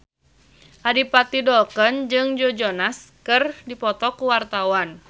Adipati Dolken jeung Joe Jonas keur dipoto ku wartawan